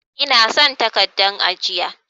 Ina son takaddan ajiya.